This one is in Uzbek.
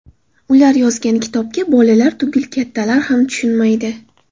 Ular yozgan kitobga bolalar tugul kattalar ham tushunmaydi.